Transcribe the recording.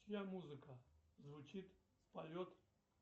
чья музыка звучит в полет